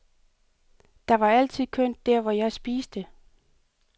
Der var altid kønt der hvor jeg spiste.